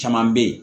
Caman bɛ yen